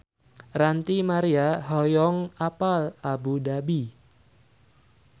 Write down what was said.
Ranty Maria hoyong apal Abu Dhabi